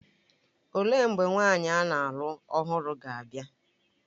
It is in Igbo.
Olee mgbe nwaanyị a na-alụ ọhụrụ ga-abịa?